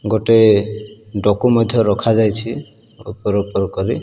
ଗୋଟେ ମଧ୍ୟ ରଖା ଯାଇଚି ଉପର ଉପର କରି।